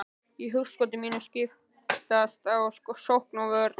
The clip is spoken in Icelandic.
Í hugskoti mínu skiptast á sókn og vörn.